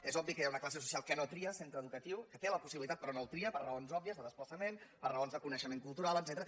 és obvi que hi ha una classe social que no tria centre educatiu que en té la possibilitat però no el tria per raons òbvies de desplaçament per raons de coneixe·ment cultural etcètera